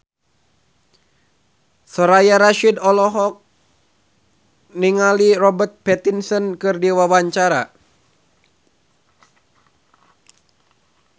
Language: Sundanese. Soraya Rasyid olohok ningali Robert Pattinson keur diwawancara